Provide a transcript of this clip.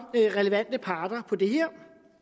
relevante parter på det her